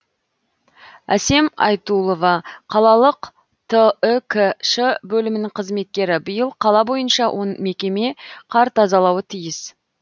әсем айтулова қалалық түкш бөлімінің қызметкері биыл қала бойынша он мекеме қар тазалауы тиіс